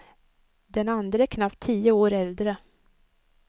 Den andre är knappt tio år äldre.